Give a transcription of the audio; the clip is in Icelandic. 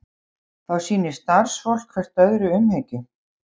Þá sýni starfsfólk hvert öðru umhyggju